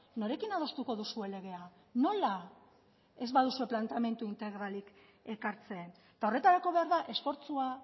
norekin adostuko duzue legea nola ez baduzue planteamendu integralik ekartzen eta horretarako behar da esfortzua